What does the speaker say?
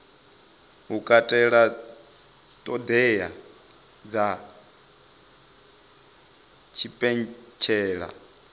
u katela ṱhoḓea dza tshipentshela